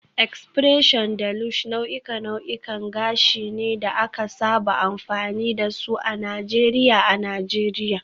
X-pression da Lush nau'ikan nau'ikan gashi ne da aka saba amfani da su a Najeriya a Najeriya